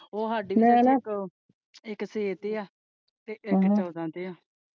ਉਹ ਸਾਡੀ ਮੈਂ ਨਾ ਉਹ ਇੱਕ ਛੇਹ ਤੇ ਹੈ ਇੱਕ ਤੇ ਹੈ।